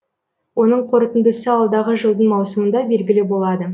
оның қорытындысы алдағы жылдың маусымында белгілі болады